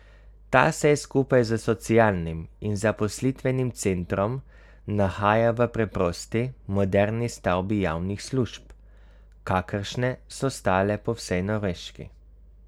Ta se je skupaj s socialnim in zaposlitvenim centrom nahajal v preprosti moderni stavbi javnih služb, kakršne so stale po vsej Norveški.